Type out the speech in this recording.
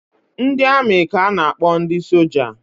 Ndị amị ka a na-akpọ ndị soja